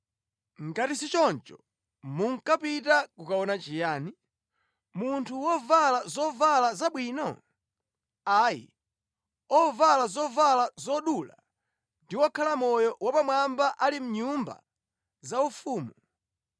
Ngati si choncho, munkapita kukaona chiyani? Munthu wovala zovala zabwino? Ayi, ovala zovala zodula ndi okhala moyo wapamwamba ali mʼnyumba zaufumu.